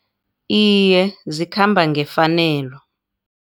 Iye, zikhamba ngefanelo.